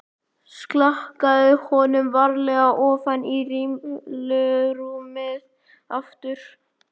Slakaði honum varlega ofan í rimlarúmið aftur.